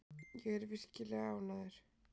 Ég er virkilega ánægður.